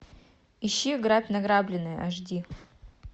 ищи грабь награбленное аш ди